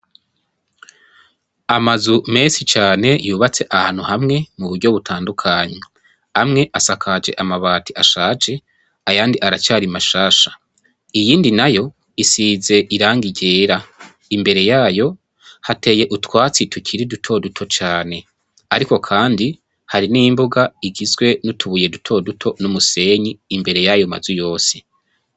Amazu menshi cane yubatse ahantu hamwe mu buryo butandukanye amwe asakaje amabati ashaje ayandi aracari mashasha iyindi na yo isize iranga igera imbere yayo hateye utwatsi tukiri dutoduto cane, ariko, kandi h ari n' imbuga igizwe niutubuye dutoduto n'umusenyi imbere y'ayo mazu yose.